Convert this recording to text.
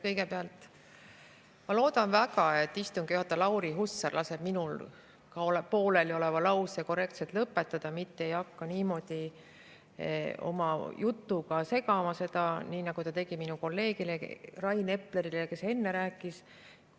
Kõigepealt, ma loodan väga, et istungi juhataja Lauri Hussar laseb minul poolelioleva lause korrektselt lõpetada, mitte ei hakka niimoodi oma jutuga vahele segama, nagu ta tegi minu kolleegi Rain Epleri puhul, kes enne rääkis.